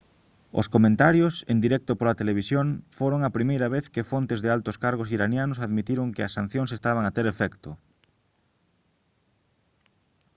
os comentarios en directo pola televisión foron a primeira vez que fontes de altos cargos iranianos admitiron que as sancións estaban a ter efecto